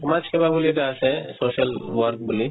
তোমাৰ সমাজ সেৱা বুলি এটা আছে social work বুলি